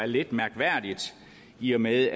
lidt mærkværdigt i og med